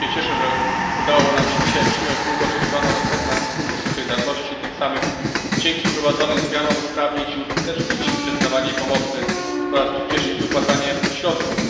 Bardzo się cieszę, że udało nam się dzisiaj przyjąć długo oczekiwaną reformę Funduszu Solidarności i tym samym dzięki wprowadzonym zmianom usprawnić i uskutecznić przyznawanie pomocy oraz przyspieszyć wypłacanie środków.